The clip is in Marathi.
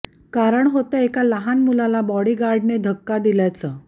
कारण होतं एका लहान मुलाला बॉडीगार्डने धक्का दिल्याचं